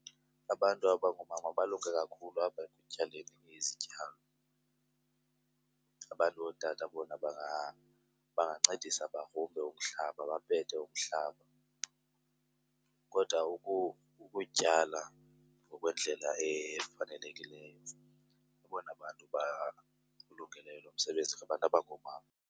Abantu abangoomama balunge kakhulu apha ekutyaleni izityalo. Abantu ootata bona bangancedisa bagrumbe umhlaba, bapete umhlaba. Kodwa ukutyala ngokwendlela efanelekileyo abona bantu bawulungeleyo lo msebenzi ngabantu abangoomama.